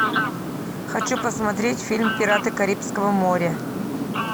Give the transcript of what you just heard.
хочу посмотреть фильм пираты карибского моря